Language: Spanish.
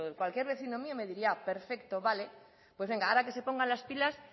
cualquier vecino mío me diría perfecto vale pues venga ahora que se pongan las pilas